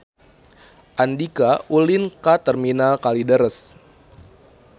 Andika ulin ka Terminal Kalideres